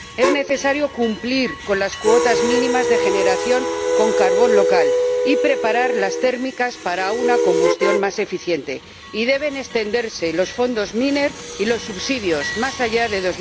Es necesario cumplir con las cuotas mínimas de generación con carbón local y preparar las térmicas para una combustión más eficiente, y deben extenderse los Fondos Miner y los subsidios más allá de